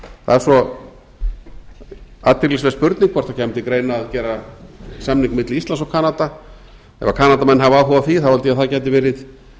það er svo athyglisverð spurning hvort það kæmi til greina að gera samning milli íslands og kanada ef kanadamenn hafa áhuga á því held ég að það gæti verið